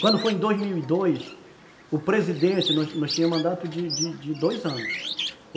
Quando foi em dois mil e dois, o presidente, nós tínhamos mandato de dois anos.